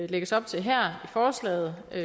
lægges op til her i forslaget er